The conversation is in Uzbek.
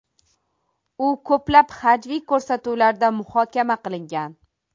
U ko‘plab hajviy ko‘rsatuvlarda muhokama qilingan.